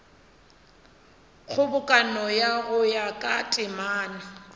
kgobokano go ya ka temana